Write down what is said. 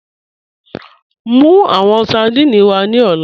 Mú awọn sardine wà ní ọlá